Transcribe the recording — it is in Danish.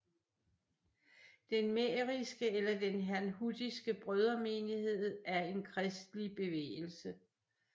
Den mähriske eller den Herrnhutiske Brødremenighed er en kristelig bevægelse